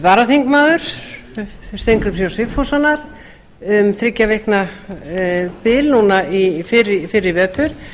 varaþingmaður steingríms j sigfússonar um þriggja vikna skeið núna fyrr í vetur